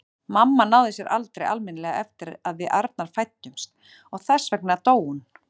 Mamma náði sér aldrei almennilega eftir að við Arnar fæddumst og þess vegna dó hún.